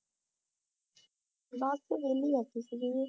ਬਸ ਵਿਹਲੀ ਬੈਠੀ ਸੀਗੀ ਜੀ